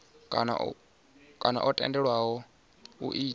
kana o tendelwaho u ita